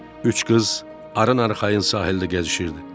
Üç qız arxayın sahildə gəzişirdi.